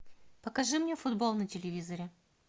покажи мне футбол на телевизоре